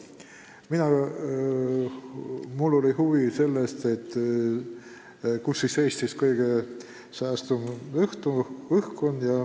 Mina tundsin huvi selle vastu, kus siis Eestis kõige saastatum õhk on.